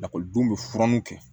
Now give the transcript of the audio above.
Lakɔlidenw bɛ furanu kɛ